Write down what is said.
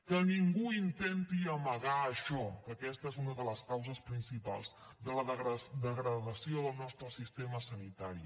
que ningú intenti amagar això que aquesta és una de les causes principals de la degradació del nostre sistema sanitari